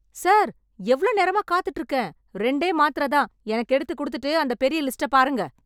Sir, எவ்ளோ நேரமா காத்துட்டு இருக்கேன்... ரெண்டே மாத்திரைதான் எனக்கு எடுத்துகுடுத்துட்டு, அந்த பெரிய லிஸ்ட்ட பாருங்க.